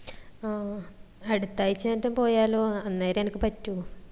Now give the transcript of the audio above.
ആഹ് അടിത്തഴ്ച ആറ്റം പോയാലോ അന്നേരെ എനിക്ക് പറ്റൂ